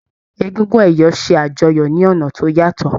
Egúngún ẹ̀yọ̀ ṣe àjọyọ̀ ní ọ̀nà tó yàtọ̀.